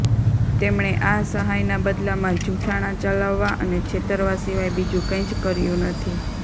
તેમણે આ સહાયના બદલમાં જુઠ્ઠાણાં ચલાવવા અને છેતરવા સિવાય બીજું કંઈ જ કર્યું નથી